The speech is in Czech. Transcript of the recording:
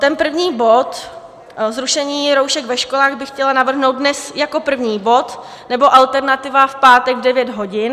Ten první bod - zrušení roušek ve školách - bych chtěla navrhnout dnes jako první bod, nebo alternativa, v pátek v 9 hodin.